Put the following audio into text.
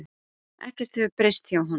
Ekkert hefur breyst hjá honum.